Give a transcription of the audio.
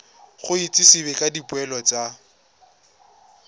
go itsisiwe ka dipoelo tsa